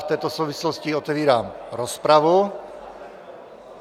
V této souvislosti otevírám rozpravu.